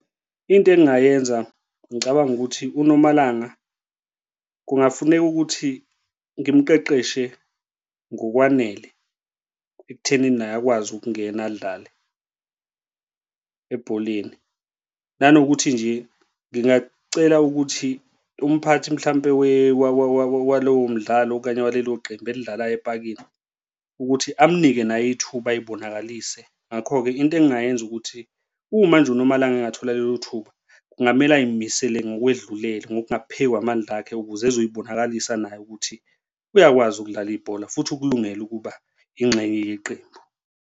Into engingayenza ngicabanga ukuthi uNomalanga, kungafuneka ukuthi ngimqeqeshe ngokwanele ekuthenini naye akwazi ukungena adlale ebholeni. Nanokuthi nje ngingacela ukuthi umphathi mhlampe walowo mdlalo okanye kwalelo qembu elidlalayo epakile ukuthi amnike naye ithuba ay'bonakalise. Ngakho-ke into engingayenza ukuthi uma nje uNomalanga engathola lelo thuba kungamele ay'misele ngokwedlulele ngokuphezu kwamandla akhe ukuze uzoy'bonakalisa naye ukuthi uyakwazi ukudlala ibhola futhi ukulungele ukuba yingxenye yeqembu